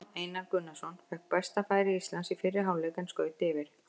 Aron Einar Gunnarsson fékk besta færi Íslands í fyrri hálfleik en skaut yfir.